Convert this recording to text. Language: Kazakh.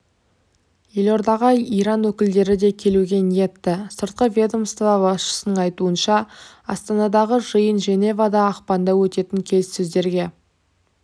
елордаға иран өкілдері де келуге ниетті сыртқы ведомство басшысының айтуынша астанадағы жиын женевада ақпанда өтетін келіссөздерге